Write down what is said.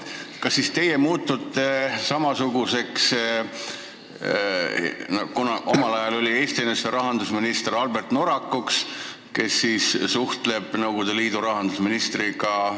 Kas siis teie muutute samasuguseks ametimeheks, nagu omal ajal oli Eesti NSV rahandusminister Albert Norak, kes suhtles Nõukogude Liidu rahandusministriga?